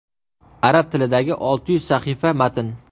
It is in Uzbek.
Arab tilidagi olti yuz sahifa matn.